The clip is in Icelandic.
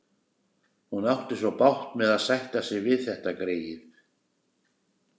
Hún átti svo bágt með að sætta sig við þetta greyið.